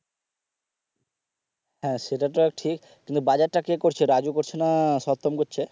হ্যাঁ সেটা তো ঠিক কিন্তু বাজার টা কে করছে রাজু করছে না সত্তম করছে।